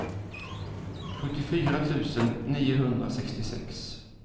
sjuttiofyra tusen niohundrasextiosex